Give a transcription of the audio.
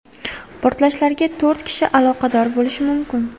Portlashlarga to‘rt kishi aloqador bo‘lishi mumkin.